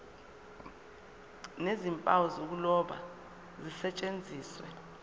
nezimpawu zokuloba zisetshenziswe